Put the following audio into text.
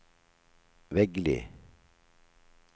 Veggli